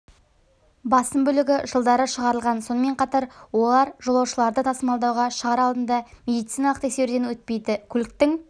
басым бөлігі жылдары шығарылған сонымен қатар олар жолаушыларды тасымалдауға шығар алдында медициналық тексеруден өтпейді көліктің